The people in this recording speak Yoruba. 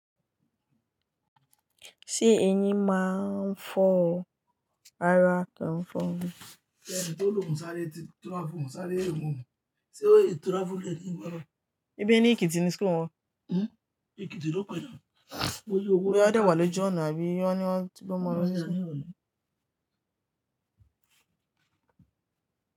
Ṣé ẹyin máa ń fọ ara kàn fún un? Ẹni tó lòún sáré ti tura fún un, sáré èwọ̀. Sé ó ti tura fún ẹni kí wọ́n rà á? Ẹbí ẹ ní Èkìtì ni school wọn? Èkìtì ló pẹ̀lú. Ó yẹ kí ó dà wà lójú ọ̀nà bí i ọ́ní ẹni tí wọ́n máa ń rí.